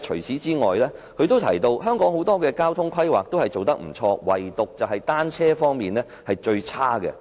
此外，她提到香港有很多交通規劃做得不錯，唯獨是單車方面是最差的。